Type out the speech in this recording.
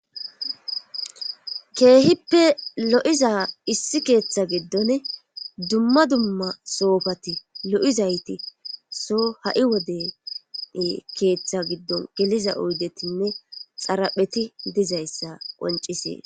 keehippe lo7iza issi keeththa giddon dumma dumma soofati lo7izayti so ha7i wode keeththa giddon geliza oydetinne xarapheti dizayssa qoncisee